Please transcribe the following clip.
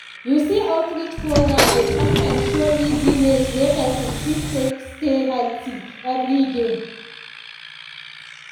you see outreach programs dey sometimes show easy ways wey person fit take stay healthy every day